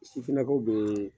Sinakaw bee